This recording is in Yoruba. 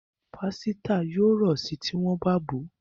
Pàsìta yóò ro sí tí wón bá bọ.